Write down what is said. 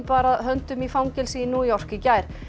bar að höndum í fangelsi í New York í gær